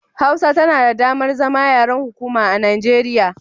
Hausa tana da damar zama yaren hukuma a Nigeriya